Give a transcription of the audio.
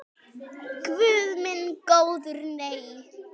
Guð minn góður nei.